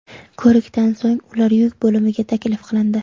Ko‘rikdan so‘ng ular yuk bo‘limiga taklif qilindi.